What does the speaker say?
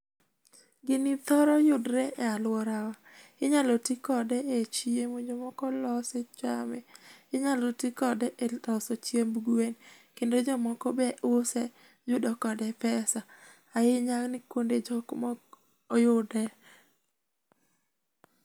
Gini thoroyudre e aluora wa , inyalo ti kode e chiemo , jomoko lose chame , inyalo ti kode e loso chiemb guen kendo jomoko be use yudo kode pesa ahinya ni kuonde jok mok oyude